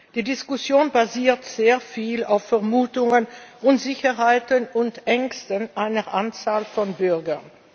Die Diskussion basiert sehr viel auf Vermutungen, Unsicherheiten und Ängsten einer Anzahl von Bürgern.